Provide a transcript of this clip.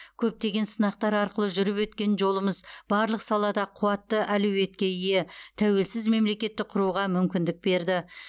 көптеген сынақтар арқылы жүріп өткен жолымыз барлық салада қуатты әлеуетке ие тәуелсіз мемлекетті құруға мүмкіндік берді